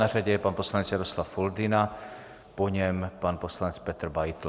Na řadě je pan poslanec Jaroslav Foldyna, po něm pan poslanec Petr Beitl.